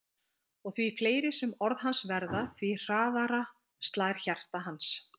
Og því fleiri sem orð hans verða því hraðara slær hjarta hans.